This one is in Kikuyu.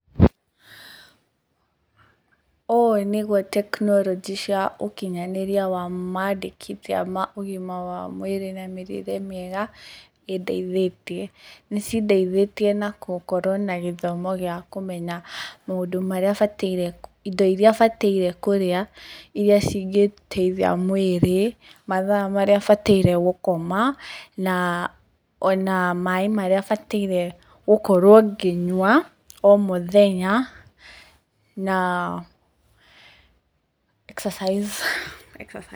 Ũũ nĩguo tekinoronjĩ cia ũkinyanĩria wa mandĩkithia ma ũgima wa mwĩrĩ na mĩrĩre mĩega ĩndeithĩtie. Nĩ cindeithĩtie na gũkorwo na gĩthomo gĩa kũmenya maũndũ, indo iria bataire kũrĩa iria cingĩteithia mwĩrĩ, mathaa maria bataire gũkoma na ona maaĩ marĩa bataire gũkorwo ngĩnyua o mũthenya na exercise.